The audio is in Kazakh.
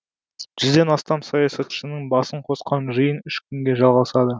жүзден астам саясатшының басын қосқан жиын үш күнге жалғасады